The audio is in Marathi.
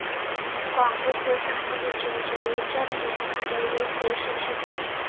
काँग्रेस व सानेगुरुजींच्या विचारणीने भारावले ते शिक्षक होते.